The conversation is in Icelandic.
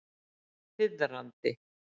Þiðrandi